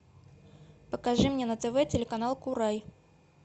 покажи мне на тв телеканал курай